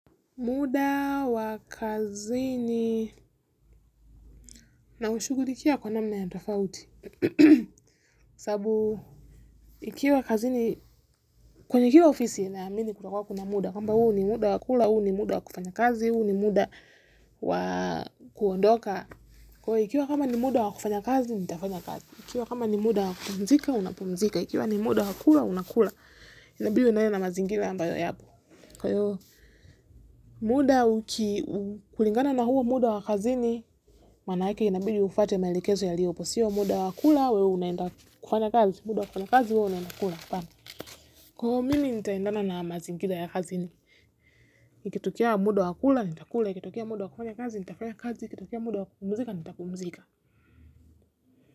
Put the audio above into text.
Muda wa kazini naushugulikia kwa namna ya tofauti. Sababu, nikiwa kazini, kwenye kila ofisi naamini kunakuanga kuna muda. Kwamba huu ni muda wa kula, huu ni muda wa kufanya kazi, huu ni muda wa kuondoka. Kwa hio ikiwa kama ni muda wa kufanya kazi, nitafanya kazi. Ikiwa kama ni muda wa kupumzika, unapumzika. Ikiwa ni muda wakula, unakula. Inabiyo nayo na mazingira ambayo yapo. Kwa hiyo, muda uki-- kulingana na huo muda wa kazini, manaake inabidii ufuate maelekezo yaliopo. Sio muda wa kula wewe unaenda kufanya kazi, muda wa kufanya kazi wewe unaenda kula, hapana. Kwa mimi nitaendana na mazingira ya kazini. Ikitokea muda wa kula, nitakula, ikitokea muda wa kufanya kazi, nitafanya kazi, ikitokea muda wa kupumzika, nitapumzika.